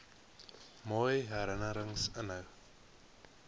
mooi herinnerings inhou